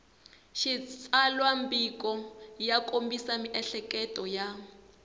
xitsalwambiko ya kombisa miehleketo ya